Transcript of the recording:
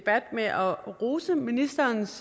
med at rose ministerens